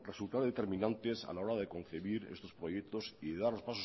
resultar determinantes a la hora de concebir estos proyectos y dar los